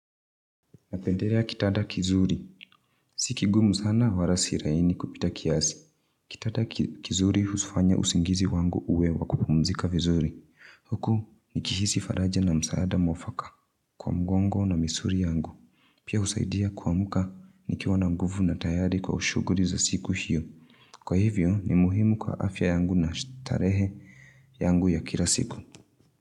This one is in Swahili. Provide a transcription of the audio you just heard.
Napendelea kitada kizuri. Si kigumu sana wala si laini kupita kiasi. Kitanda kizuri hufanya usingizi wangu uwe wa kupumzika vizuri. Huku nikihisi faraja na msaada mwfaka kwa mgongo na misuli yangu. Pia husaidia kuamuka nikiwa na nguvu na tayari kwa shughuli za siku hio. Kwa hivyo ni muhimu kwa afya yangu na starehe yangu ya kila siku.